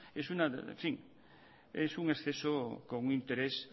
es en un exceso con un interés